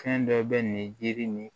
Fɛn dɔ bɛ nin jiri ni